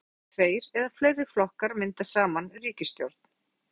Talað er um samsteypustjórn þegar tveir eða fleiri flokkar mynda saman ríkisstjórn.